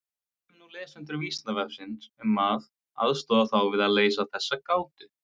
Við biðjum nú lesendur Vísindavefsins um að aðstoða þá við að leysa þessa gátu.